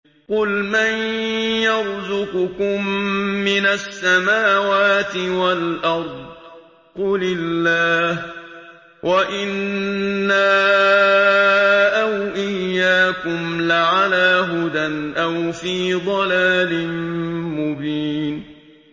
۞ قُلْ مَن يَرْزُقُكُم مِّنَ السَّمَاوَاتِ وَالْأَرْضِ ۖ قُلِ اللَّهُ ۖ وَإِنَّا أَوْ إِيَّاكُمْ لَعَلَىٰ هُدًى أَوْ فِي ضَلَالٍ مُّبِينٍ